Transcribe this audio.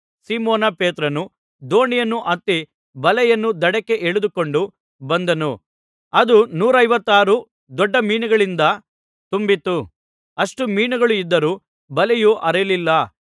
Simon ಪೇತ್ರನು ದೋಣಿಯನ್ನು ಹತ್ತಿ ಬಲೆಯನ್ನು ದಡಕ್ಕೆ ಎಳದುಕೊಂಡು ಬಂದನು ಅದು ನೂರೈವತ್ಮೂರು ದೊಡ್ಡ ಮೀನುಗಳಿಂದ ತುಂಬಿತ್ತು ಅಷ್ಟು ಮೀನುಗಳು ಇದ್ದರೂ ಬಲೆಯು ಹರಿದಿರಲಿಲ್ಲ